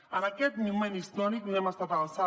en aquest moment històric no hem estat a l’alçada